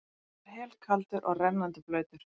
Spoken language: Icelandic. Hann var helkaldur og rennandi blautur.